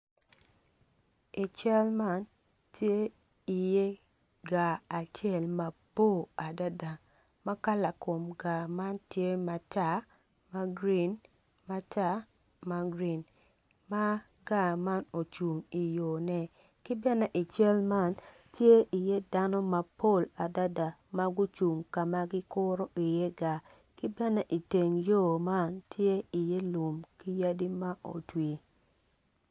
I cal man tye i ye gar acel mabor makala kom gar man tye matar magurin matar magurin ma gar man ocung i yone ki bene i cal man tye i ye dano mapol adada magucung kama gikuro i ye gar ki bene iteng yo man tye i ye lum ki yadi ma otwi.